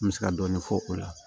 N bɛ se ka dɔɔni fɔ o la